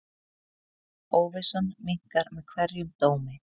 Óvissan minnkar með hverjum dómi.